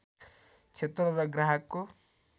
क्षेत्र र ग्राहकको